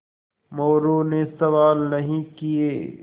मोरू ने सवाल नहीं किये